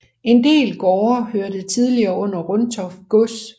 En del gårde hørte tidligere under Runtoft gods